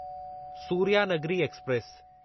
Suryanagari express